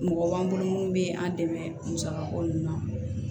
Mɔgɔ b'an bolo mun bɛ an dɛmɛ musaka ko nun na